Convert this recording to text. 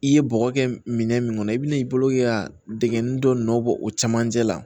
I ye bɔgɔ kɛ minɛn min kɔnɔ i bi n'i bolo ka dɛgɛnni dɔ nɔ bɔ o camancɛ la